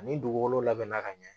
Ani dugukolo labɛnna ka ɲɛ